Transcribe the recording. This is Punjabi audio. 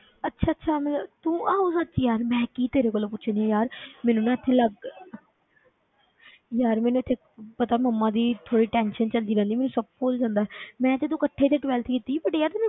ਅੱਛਾ ਅੱਛਾ ਮਤਲਬ ਤੂੰ ਆਹੋ ਸੱਚ ਯਾਰ ਮੈਂ ਕੀ ਤੇਰੇ ਕੋਲੋਂ ਪੁੱਛਦੀ ਹਾਂ ਯਾਰ ਮੈਨੂੰ ਨਾ ਇੱਥੇ ਲੱਗ ਯਾਰ ਮੈਨੂੰ ਇੱਥੇ ਪਤਾ ਮੰਮਾ ਦੀ ਥੋੜ੍ਹੀ tension 'ਚ ਆਉਂਦੀ ਰਹਿੰਦੀ ਮੈਨੂੰ ਸਭ ਭੁੱਲ ਜਾਂਦਾ ਹੈ ਮੈਂ ਤੇ ਤੂੰ ਇਕੱਠੇ ਤੇ twelfth ਕੀਤੀ ਸੀ but ਯਾਰ ਤੂੰ ਮੈਨੂੰ